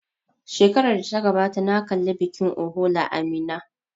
Shekarar da ta gabata na kalli bikin ohola a Minna.